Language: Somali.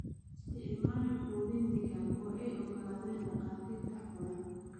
Isticmaal quudin digaag oo ay oggolaadeen dhakhaatiirta xoolaha.